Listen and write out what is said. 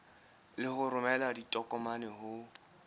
le ho romela ditokomane ho